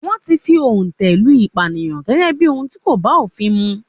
Wọ́n ti fi òǹtẹ̀ lu Ìpànìyàn gẹ́gẹ́ bí ohùn tí kò bá òfin mu.